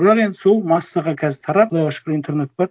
бірақ енді сол массаға қазір тарап құдайға шүкір интернет бар